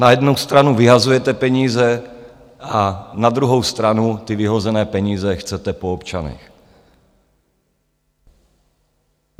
Na jednu stranu vyhazujete peníze a na druhou stranu ty vyhozené peníze chcete po občanech.